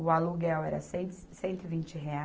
O aluguel era cento e se, cento e vinte reais.